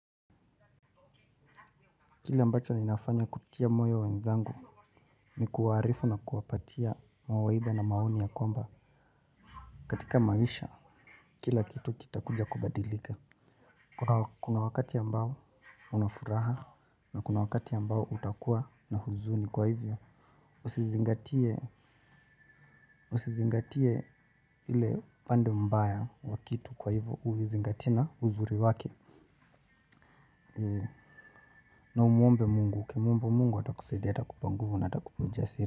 Kile ambacho ninafanya kutia moyo wenzangu ni kuwaharifu na kuwapatia mawaidha na maoni ya kwamba katika maisha kila kitu kita kuja kubadilika. Kuna wakati ambao unafuraha na kuna wakati ambao utakuwa na huzuni kwa hivyo. Usizingatie ili pande mbaya wa kitu kwa hivyo uvizingatie na uzuri wake. Na umuombe mungu, ukimwomba mungu atakusaidia ata kupa nguvu na atakupa uja siri.